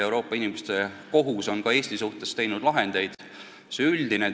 Euroopa Inimõiguste Kohus on ka Eesti asjade kohta lahendeid teinud.